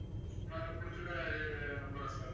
நான் கொடுத்துருக்க number ஆ sir